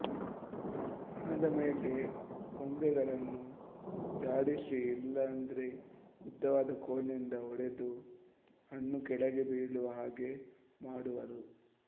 ಹಣ್ಣಾದ ಮೇಲೆ ಕೊಂಬೆಗಳನ್ನು ಝಾಡಿಸಿ ಇಲ್ಲಂದರೆ ಉದ್ದವಾದ ಕೋಲಿನಿಂದ ಒಡೆದು ಹಣ್ಣು ಕೆಳಗೆ ಬೀಳುವ ಹಾಗೆ ಮಾಡುವರು